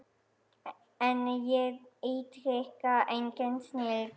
En ég ítreka, engin snilld.